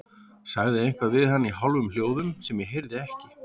Sagði eitthvað við hann í hálfum hljóðum sem ég heyrði ekki.